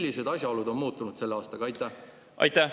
Millised asjaolud on muutunud selle aastaga?